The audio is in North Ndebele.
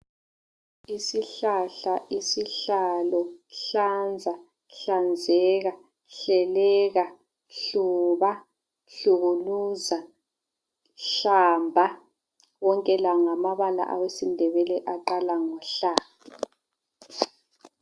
Isihlahla, isihlalo, hlanza, hlanzeka, hleleka, hluba, hlukuluza, hlamba, wonke la ngamabala awesindebele aqala ngohla.